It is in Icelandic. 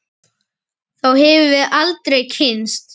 Þá hefðum við aldrei kynnst